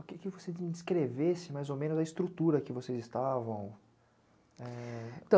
que você me descrevesse, mais ou menos, da estrutura que vocês estavam?